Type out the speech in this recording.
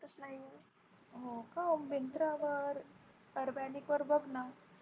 हो का Myntra वर Urbanic वर बघ ना.